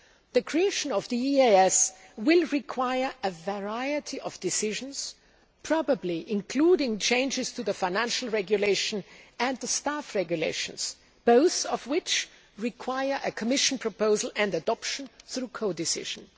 The creation of the EEAS will require a variety of decisions, probably including changes to the Financial Regulation and the Staff Regulations, both of which require a Commission proposal and adoption through codecision.